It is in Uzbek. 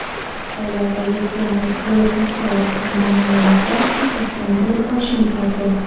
joylardagi temir yo‘l kassalari hamda ma’lumotlar byurosidan bilib olishingiz mumkin.